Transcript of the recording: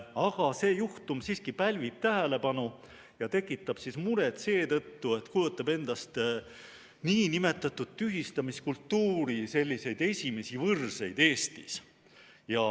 Aga see juhtum siiski pälvib tähelepanu ja tekitab muret seetõttu, et kujutab endast nn tühistamiskultuuri esimesi võrseid Eestis.